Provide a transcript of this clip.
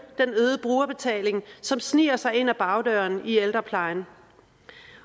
den øgede brugerbetaling som sniger sig ind ad bagdøren i ældreplejen